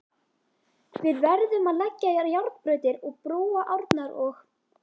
Við verðum að leggja járnbrautir og brúa árnar og.